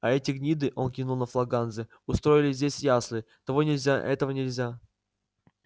а эти гниды он кивнул на флаг ганзы устроили здесь ясли того нельзя этого нельзя